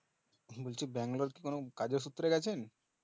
বলছি ব্যাঙ্গালোর কি কোনো কাজের সূত্রে গেছেন?